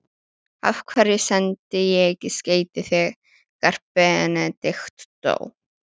Af hverju sendi ég ekki skeyti þegar Benedikt dó?